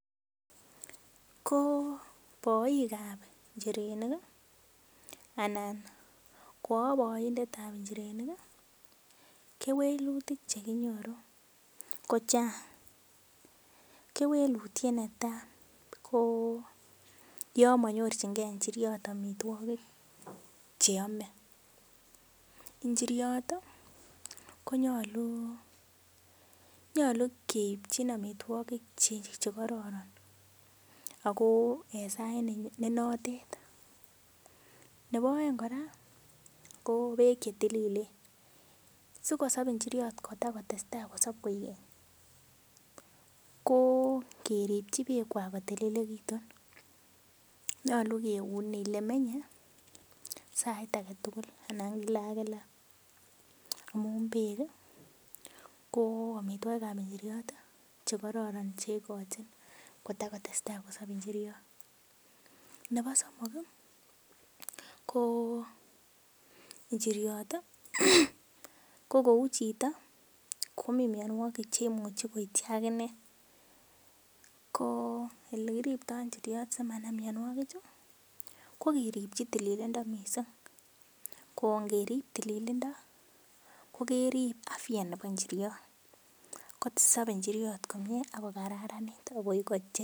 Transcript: Ko boikab njirenik ii anan ko aboindetab njirenik ii, kewelutik che kinyoru ko chang, kewelutiet ne tai, ko yo monyorchinkei njiriot amitwogik che ame, njiriot ii ko nyalu, nyalu keipchin amitwogik che kororon, ako en sait ne notet, nebo aeng kora, ko beek che tililen, sikosop njiriot kota kotestai kosop koek keny, ko keripchi beekwak kotililekitun, nyalu keun ele menye sait ake tugul anan kila ak kila amun beek ii, ko amitwogikab njiriot che kororon che ikochin kotakotestai kosop njiriot, nebo somok ii, ko njiriot ii ko kou chito komi mionwogik cheimuchi koityi akine, ko ele kiriptoi njioriot simanam mionwogichu, ko keripchi tililndo mising, ko ngerip tililindo ko kerip afya nebo njiriot, kosobei njiriot komie ak ko kararanit ak.